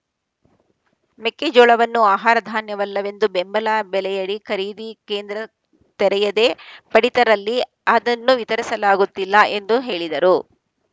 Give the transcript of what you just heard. ಮೆಕ್ಕೆಜೋಳವನ್ನು ಆಹಾರ ಧಾನ್ಯವಲ್ಲವೆಂದು ಬೆಂಬಲ ಬೆಲೆಯಡಿ ಖರೀದಿ ಕೇಂದ್ರ ತೆರೆಯದೇ ಪಡಿತರದಲ್ಲಿ ಅದನ್ನು ವಿತರಿಸಲಾಗುತ್ತಿಲ್ಲ ಎಂದು ಹೇಳಿದರು